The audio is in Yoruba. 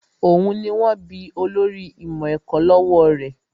Òun ni wón bí olórí ìmọ̀ ẹ̀kọ́ lọ́wọ́ rẹ̀